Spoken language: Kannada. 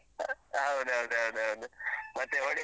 ಹೌದೌದು ಹೌದೌದು. ಮತ್ತೆ ಹೊಡಿ